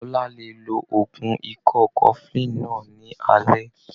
Bọ́lá lè lo oògùn ikọ́ cofflin náà ní alẹ́.